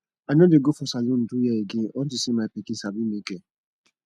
i no dey go for salon do hair again unto say my pikin sabi make hair